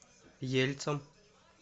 ельцом